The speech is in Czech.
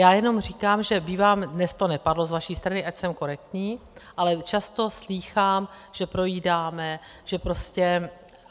Já jenom říkám, že bývám - dnes to nepadlo z vaší strany, ať jsem korektní, ale často slýchám, že projídáme, že prostě...